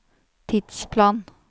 tidsplan